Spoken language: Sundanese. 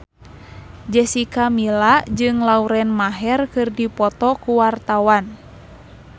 Jessica Milla jeung Lauren Maher keur dipoto ku wartawan